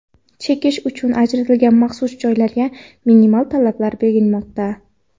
chekish uchun ajratilgan maxsus joylarga minimal talablar belgilanmoqda.